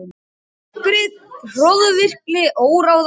Uppgrip, hroðvirkni, óráðvendni.